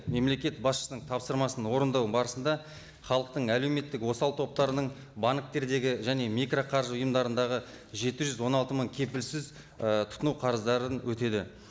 мемлекет басшысының тапсырмасын орындау барысында халықтың әлеуметтік осал топтарының банктердегі және микроқаржы ұйымдарындағы жеті жүз он алты мың кепілсіз і тұтыну қарыздарын өтеді